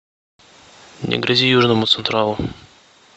не грози южному централу